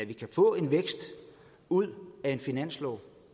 vi kan få en vækst ud af en finanslov